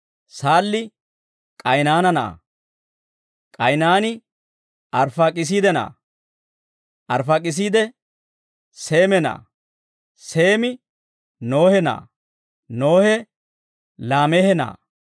Saalli K'aynaana na'aa; K'aynaani Arfaakisiide na'aa; Arfaakisiide Seeme na'aa; Seemi Nohe na'aa; Nohe Laameehe na'aa;